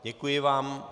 Děkuji vám.